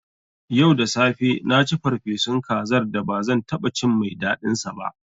Yau da safe na ci farfesun kazar da ba zan taɓa cin mai daɗinsa ba.